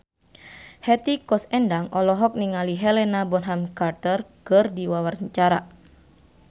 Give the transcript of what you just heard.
Hetty Koes Endang olohok ningali Helena Bonham Carter keur diwawancara